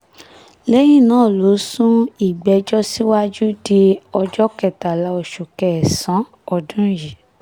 lẹ́yìn náà ló sún ìgbẹ́jọ́ síwájú di ọjọ́ kẹtàlá oṣù kẹsàn-án ọdún yìí